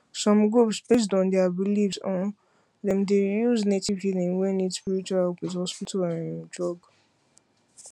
some groups based on their belief um dem dey use native healing wey need spiritual help with hospital um drug